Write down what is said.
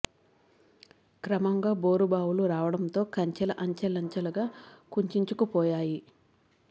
క్రమంగా బోరుబావులు రావడంతో కంచెలు అంచెల ంచె లుగా కుంచించు కుపో యా యి